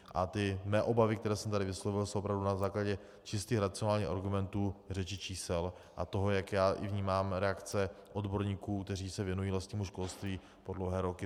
A ty mé obavy, které jsem tady vyslovil, jsou opravdu na základě čistých racionálních argumentů, řeči čísel a toho, jak já i vnímám reakce odborníků, kteří se věnují lesnímu školství po dlouhé roky.